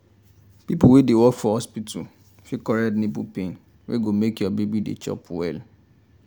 people wey dey work for hospital fit correct nipple pain wey go make your baby dey chop well.